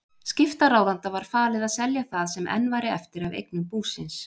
Skiptaráðanda var falið að selja það sem enn væri eftir af eignum búsins.